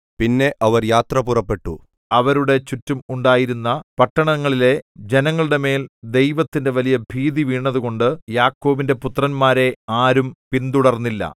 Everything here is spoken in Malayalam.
പിന്നെ അവർ യാത്ര പുറപ്പെട്ടു അവരുടെ ചുറ്റും ഉണ്ടായിരുന്ന പട്ടണങ്ങളിലെ ജനങ്ങളുടെമേൽ ദൈവത്തിന്റെ വലിയ ഭീതി വീണതുകൊണ്ട് യാക്കോബിന്റെ പുത്രന്മാരെ ആരും പിന്തുടർന്നില്ല